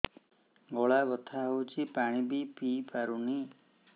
ଗଳା ବଥା ହଉଚି ପାଣି ବି ପିଇ ପାରୁନି